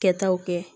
Kɛtaw kɛ